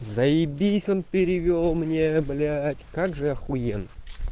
заебись он перевёл мне блять как же ахуенно